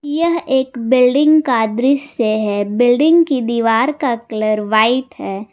यह एक बिल्डिंग का दृश्य है बिल्डिंग की दीवार का कलर व्हाइट है।